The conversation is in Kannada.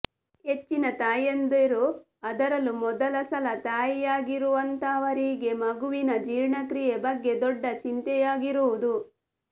ಹೆಚ್ಚಿನ ತಾಯಂದಿರು ಅದರಲ್ಲೂ ಮೊದಲ ಸಲ ತಾಯಿಯಾಗಿರುವಂತಹವರಿಗೆ ಮಗುವಿನ ಜೀರ್ಣಕ್ರಿಯೆ ಬಗ್ಗೆ ದೊಡ್ಡ ಚಿಂತೆಯಾಗಿರುವುದು